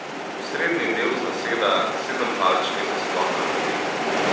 Osrednji del zaseda sedempalčni zaslon na dotik.